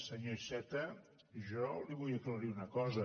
senyor iceta jo li vull aclarir una cosa